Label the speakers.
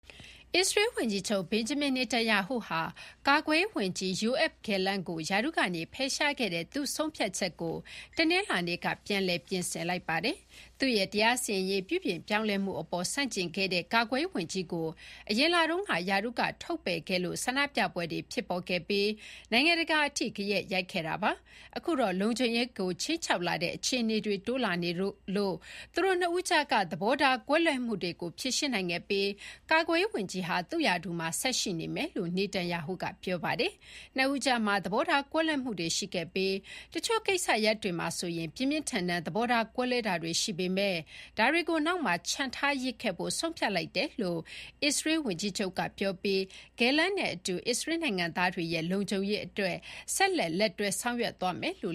Speaker 1: အစ္စရေးဝန်ကြီးချုပ် ဘင်ဂျမင် နာတန်ယာဟုဟာ ကာကွယ်ရေးဝန်ကြီး ယိုအက်ဖ် ဂယ်လန့် (Yoav Gallant) ကို ရာထူးကဖယ်ရှားခဲ့တဲ့ သူ့ဆုံးဖြတ်ချက်ကို တနင်္လာနေ့က ပြန်လည် ပြင်ဆင်လိုက်ပါတယ်။ သူ့ရဲ့ တရားစီရင်ရေးပြုပြင်ပြောင်းလဲမှုအပေါ်ဆန့်ကျင်ခဲ့တဲ့ ကာကွယ်ရေးဝန်ကြီးကို အရင်လတုန်းက ရာထူးကထုတ်ပယ်ခဲ့လို့ ဆန္ဒပြပွဲတွေဖြစ်ပေါ်ခဲ့ပြီး နိုင်ငံတကာအထိ ဂယက်ရိုက်ခဲ့တာပါ။ အခုတော့ လုံခြုံရေးကိုခြိမ်းခြောက်လာတဲ့အခြေအနေတွေ တိုးလာနေလို့ သူတို့နှစ်ဦးကြားက သဘောထားကွဲလွဲမှုတွေကို ဖြေရှင်းနိုင်ခဲ့ပြီး ကာကွယ်ရေးဝန်ကြီးဟာ သူ့ရာထူးမှာ ဆက်ရှိမယ်လို့ နာတန်ယာဟုက ပြောပါတယ်။ နှစ်ဦးကြားမှာ သဘောထားကွဲလွဲမှုတွေရှိခဲ့ပြီး တချို့ကိစ္စရပ်တွေမှာဆိုရင် ပြင်းပြင်းထန်ထန် သဘောထားကွဲလွဲတာတွေရှိပေမယ့် ဒါတွေကို နောက်မှာချန်ထားရစ်ခဲ့ဖို့ ဆုံးဖြတ်လိုက်တယ်လို့ အစ္စရေးဝန်ကြီးချုပ်ပြောပြီး ဂယ်လန့်နဲ့အတူ အစ္စရေးနိုင်ငံသားတွေရဲ့ လုံခြုံရေးအတွက် ဆက်လက် လက်တွဲလုပ်ဆောင်သွားမယ်လို့